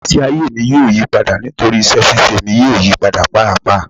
Igbesi aye mi yoo yipada nitori iṣẹ ṣiṣe mi yoo yipada paapaa